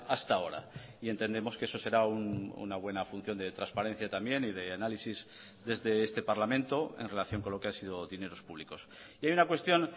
hasta ahora y entendemos que eso será una buena función de transparencia también y de análisis desde este parlamento en relación con lo que ha sido dineros públicos y hay una cuestión